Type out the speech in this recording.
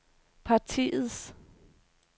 partiets